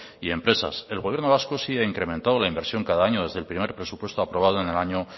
y empresas el gobierno vasco sí ha incrementado la inversión cada año desde el primer presupuesto aprobado en el año